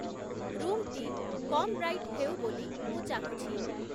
ରୁମ୍‌ଟି କମ୍ ବ୍ରାଇଟ୍‌ ହେଉ ବୋଲି ମୁଁ ଚାହୁଁଛି